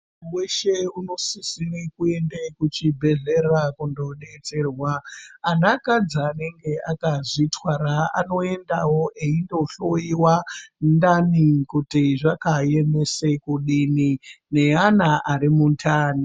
Muntu weshe unosisire kuenda kuchibhedhleya kundodetserwa anakadzi anenge akazvitwara anoendawo eindohloiwa ntani kuti zvakaemesa kudini neana ari muntani.